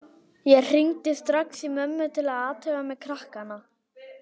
Ég hringdi strax í mömmu til að athuga með krakkana.